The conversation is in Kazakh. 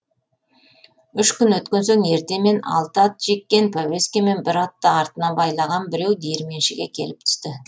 үш күн өткен соң ертемен алты ат жеккен пәуескемен бір атты артына байлаған біреу диірменшіге келіп түсті